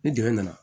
Ni dɛmɛ nana